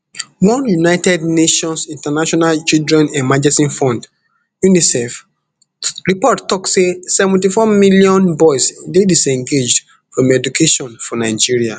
one united nations international children emergency fund unicef report tok say seventy-four million boys dey disengaged from education for nigeria